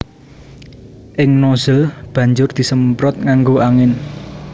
Ing nozzle banjur disemprot nganggo angin